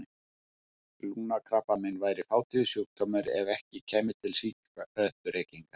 Lungnakrabbamein væri fátíður sjúkdómur ef ekki kæmu til sígarettureykingar.